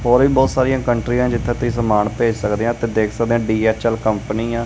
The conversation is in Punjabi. ਔਰ ਵੀ ਬਹੁਤ ਸਾਰੀਆਂ ਕੰਟਰੀ ਆਂ ਜਿੱਥੇ ਤੁਸੀਂ ਸਮਾਨ ਭੇਜ ਸਕਦੇ ਆ ਤੇ ਦੇਖ ਸਕਦੇ ਆ ਡੀ_ਐਚ_ਐਲ ਕੰਪਨੀ ਆ।